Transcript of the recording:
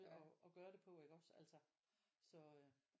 At gøre det på iggås altså så øh